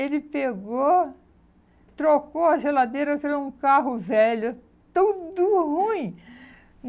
Ele pegou, trocou a geladeira, virou um carro velho, tudo ruim.